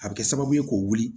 A bɛ kɛ sababu ye k'o wuli